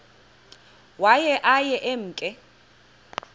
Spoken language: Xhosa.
waye aye emke